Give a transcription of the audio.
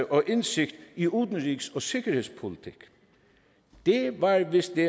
og indsigt i udenrigs og sikkerhedspolitikken det var vist det